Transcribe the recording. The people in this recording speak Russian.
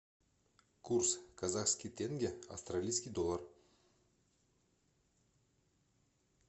курс казахский тенге австралийский доллар